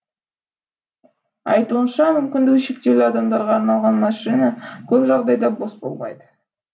айтуынша мүмкіндігі шектеулі адамдарға арналған машина көп жағдайда бос болмайды